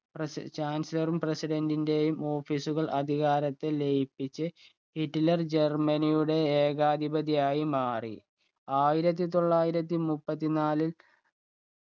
പ്രസി chancellor ഉം president ന്റെയും office കൾ അധികാരത്തിൽ ലയിപ്പിച്ച് ഹിറ്റ്ലർ ജർമനിയുടെ ഏകാധിപതിയായി മാറി ആയിരത്തി തൊള്ളായിരത്തി മുപ്പത്തി നാലിൽ